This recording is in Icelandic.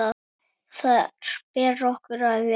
Þar ber okkur að vera!